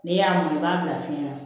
N'i y'a mɔn i b'a bila fiɲɛ na